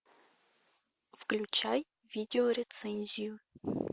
включай видеорецензию